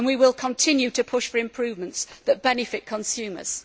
We will continue to push for improvements that benefit consumers.